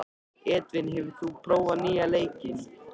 Edvin, hefur þú prófað nýja leikinn?